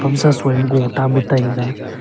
soi ma gog tam a taiga.